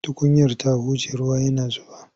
Tukunyar ta huje ruwa yana zuba.